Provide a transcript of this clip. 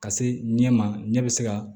Ka se ɲɛ ma ɲɛ bɛ se ka